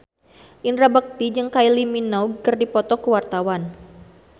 Indra Bekti jeung Kylie Minogue keur dipoto ku wartawan